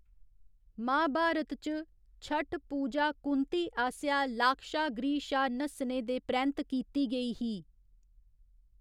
महाभारत च, छठ पूजा कुंती आसेआ लाक्षागृह शा नस्सने दे परैंत्त कीती गेई ही।